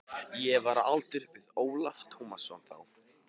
Ég var á aldur við Ólaf Tómasson þá.